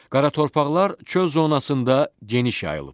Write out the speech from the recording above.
Qara torpaqlar çöl zonasında geniş yayılıb.